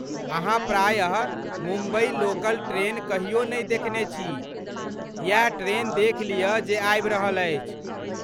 अहाँ प्रायः Mumbai local train कहियो नहि देखने छी, इएह ट्रेन देखि लियऽ जे आबि रहल अछि।